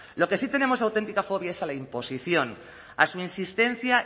lo que sí tenemos auténtica fobia es a la imposición a su insistencia